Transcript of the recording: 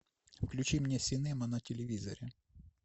включи мне синема на телевизоре